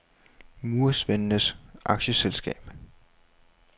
Murersvendenes Aktieselskab